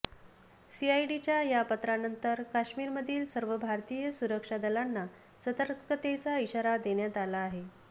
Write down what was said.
सीआयडीच्या या पत्रानंतर काश्मीरमधील सर्व भारतीय सुरक्षा दलांना सतर्कतेचा इशारा देण्यात आला आहे